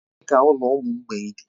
Ebee ka ụlọ ụmụ mgbei dị?